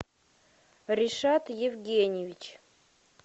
решат евгеньевич